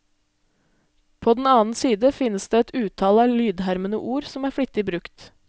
På den annen side finnes det et utall av lydhermende ord som er flittig brukt.